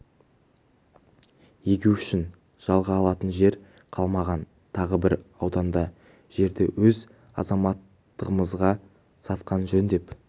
егу үшін жалға алатын жер қалмаған тағы бір ауданда жерді өз азаматтарымызға сатқан жөн деп